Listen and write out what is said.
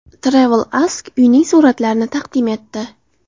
TravelAsk uyning suratlarini taqdim etdi .